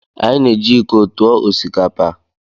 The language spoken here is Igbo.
Anyị na-eji iko tụọ osikapa.